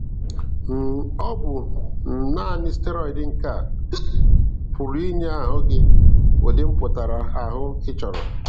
um Ọ bụ um nanị steroid nke a um pụrụ inye ahụ gị udi mpụtara ahụ ị chọrọ.